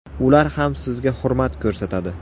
Ular ham sizga hurmat ko‘rsatadi.